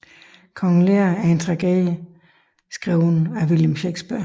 Kong Lear er en tragedie skrevet af William Shakespeare